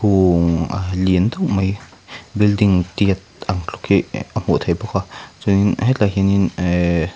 a lian deuh mai building tiat ang tluk hi ah a hmuh theih bawk a chuanin hetlaiah hianin ehh--